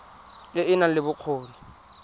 e e nang le bokgoni